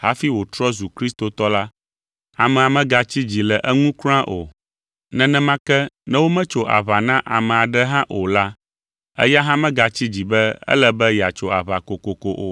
hafi wòtrɔ zu kristotɔ la, amea megatsi dzi le eŋu kura o. Nenema ke, ne wometso aʋa na ame aɖe hã o la, eya hã megatsi dzi be ele be yeatso aʋa kokoko o.